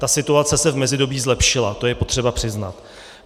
Ta situace se v mezidobí zlepšila, to je potřeba přiznat.